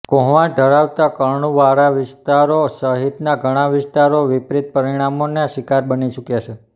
કોહવાણ ધરાવતા કળણવાળા વિસ્તારો સહિતના ઘણા વિસ્તારો વિપરિત પરિણામોના શિકાર બની ચુક્યા છે